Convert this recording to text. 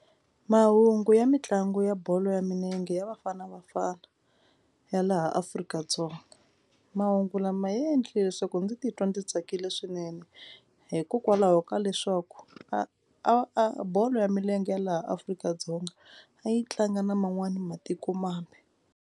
Mahungu ya mitlangu ya bolo ya milenge ya Bafana Bafana ya laha Afrika-Dzonga. Mahungu lama ya endlile leswaku ndzi titwa ndzi tsakile swinene hikokwalaho ka leswaku a a bolo ya milenge ya laha Afrika-Dzonga a yi tlanga na man'wana matikomambe.